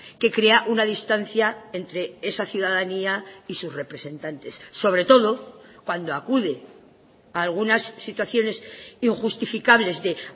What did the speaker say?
que crea una distancia entre esa ciudadanía y sus representantes sobre todo cuando acude algunas situaciones injustificables de